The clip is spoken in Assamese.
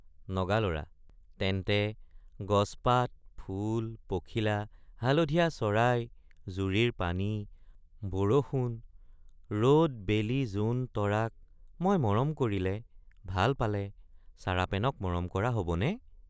নগালৰা—তেন্তে গছপাত ফুল পখিলা হালধীয়া চৰাই জুৰিৰ পানী বৰষুণ ৰদ বেলি জোন তৰাক মই মৰম কৰিলে ভাল পালে চাৰাপেনক মৰম কৰা হবনে?